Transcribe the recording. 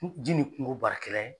Ji ni kungo baarakɛla ye.